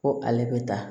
Ko ale bɛ taa